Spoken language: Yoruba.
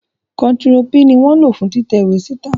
Kontiro P ni wọn lo fun titẹ iwe sita